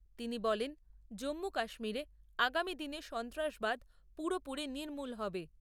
তিনি বলেন, জম্মু কাশ্মীরে আগামী দিনে সন্ত্রাসবাদ পুরোপুরি নির্মূল হবে।